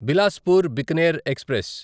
Bilaspur Bikaner express